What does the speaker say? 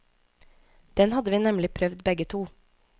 Den hadde vi nemlig prøvd begge to.